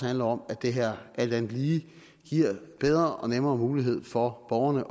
handler om at det her alt andet lige giver bedre og nemmere mulighed for borgerne